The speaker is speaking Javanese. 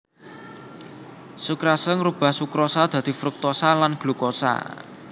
Sukrase ngrubah sukrosa dadi fruktosa lan glukosa